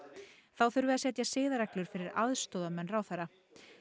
þá þurfi að setja siðareglur fyrir aðstoðarmenn ráðherra